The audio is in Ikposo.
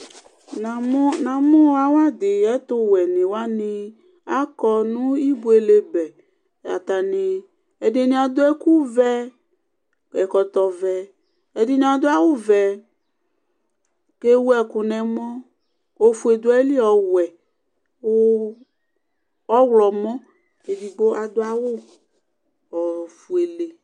namʊ namũ awadi ɛtʊwẽ ni wanï aƙɔ nũ ïɓuele bɛ atanï ɛdïnï adũ ɛkũvɛ ɛkɔtɔ vɛ ɛdïnï adũ awũ vɛ ƙewũkũ nẽmɔ ofué duaili ɔwɛ kʊ ɔylɔmɔ